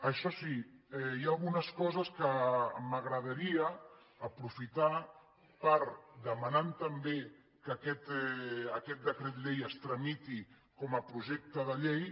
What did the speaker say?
això sí hi ha algunes coses que m’agradaria aprofitar per demanant també que aquest decret llei es tramiti com a projecte de llei